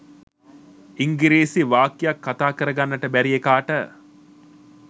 ඉංගිරිසි වාක්‍යයක් කතා කර ගන්නට බැරි එකාට